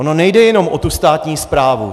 Ono nejde jenom o tu státní správu.